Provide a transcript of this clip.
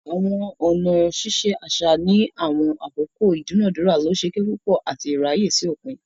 Awọn ọna ṣiṣe aṣa ni awọn akoko idunadura losokepupo ati iraye si opin.